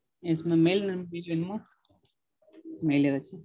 Yes mam. Mail mail வராது.